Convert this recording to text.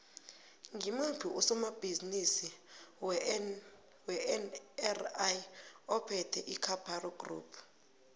ngimuphi usomabhizimisi wenri ophethe icaparo group